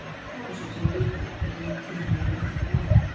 Kákasus hefur líka í gegnum tíðina verið vettvangur átaka.